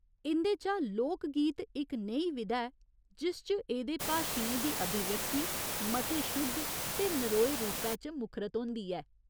इं'दे चा 'लोक गीत' इक नेही विधा ऐ, जिस च एह्दे भाशियें दी अभिव्यक्ति मते शुद्ध ते नरोए रूपै च मुखरत होंदी ऐ।